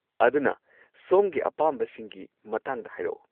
ꯑꯗꯨꯅ, ꯁꯣꯝꯒꯤ ꯑꯄꯥꯝꯕꯁꯤꯡꯒꯤ ꯃꯇꯥꯡꯗ ꯍꯥꯏꯔꯛꯑꯣ꯫